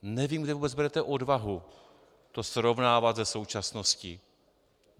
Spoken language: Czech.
Nevím, kde vůbec berete odvahu to srovnávat se současností.